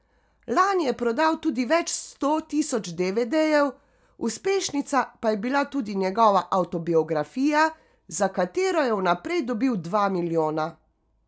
Lani je prodal tudi več sto tisoč devedejev, uspešnica pa je bila tudi njegova avtobiografija, za katero je vnaprej dobil dva milijona.